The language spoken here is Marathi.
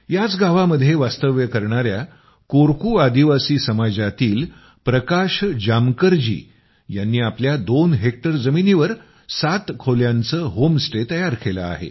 याच गावामध्ये वास्तव्य करणाया कोरकू आदिवासी समाजातील प्रकाश जामकर जी यांनी आपल्या दोन हेक्टर जमिनीवर सात खोल्यांचं होम स्टे तयार केलं आहे